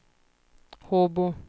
Håbo